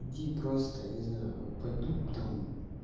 иди просто я не знаю пойду там